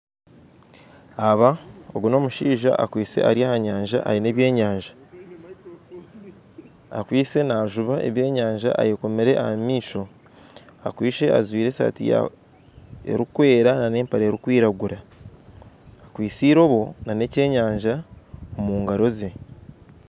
Agu n'omushaija akwitse ari ah'anyanja aine ebyenyanja akwitse naajuba ebyenyanja ayekomire ah'amaisho akwitse ajwaire esati erikwera n'empare erikwiragura akwitse irobo n'ekyenyanja omungaro ze.